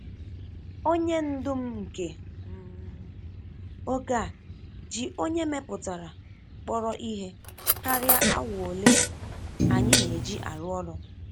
Onye ndu m nke um oge a ji onye mepụtara kpọrọ ihe karia awa ole anyị na-eji arụ ọrụ.